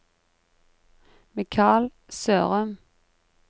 Mikal Sørum